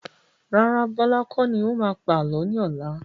Rárá, Bọlá kọ́ ni ó máa pa àálọ́ ni ọ̀la.